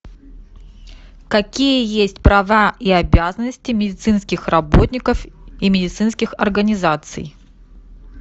какие есть права и обязанности медицинских работников и медицинских организаций